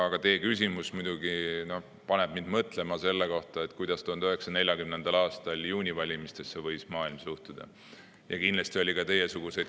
Aga teie küsimus muidugi paneb mind mõtlema sellest, kuidas 1940. aastal võis maailm suhtuda juunivalimistesse Eestis.